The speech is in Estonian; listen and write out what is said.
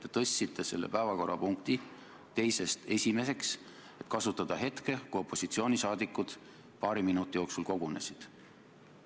Te tõstsite selle päevakorrapunkti teise asemel esimeseks, et kasutada ära seda, kui opositsiooni liikmed paari minuti jooksul kogunesid.